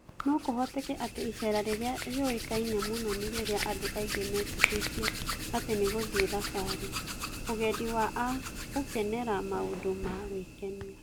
No kũhoteke atĩ icera rĩrĩa riũĩkaine mũno nĩ rĩrĩa andũ aingĩ metĩkĩtie atĩ nĩ gũthiĩ thabarĩ: ũgendi wa a gũkenera maũndũ ma gwĩkenia.